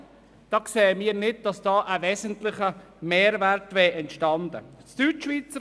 Aber wir sehen nicht, dass dadurch ein wesentlicher Mehrwert entstanden wäre.